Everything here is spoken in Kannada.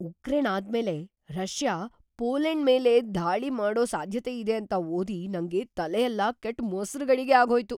ಉಕ್ರೇನ್‌ ಆದ್ಮೇಲೆ ರಷ್ಯಾ ಪೋಲೆಂಡ್ ಮೇಲ್ ದಾಳಿ ಮಾಡೋ ಸಾಧ್ಯತೆಯಿದೆ ಅಂತ ಓದಿ ನಂಗೆ ತಲೆಯೆಲ್ಲ ಕೆಟ್ಟು ಮೊಸ್ರು ಗಡಿಗೆ ಆಗ್ಹೋಯ್ತು.